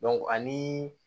ani